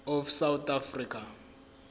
of south africa